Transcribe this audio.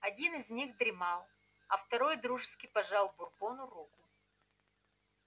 один из них дремал а второй дружески пожал бурбону руку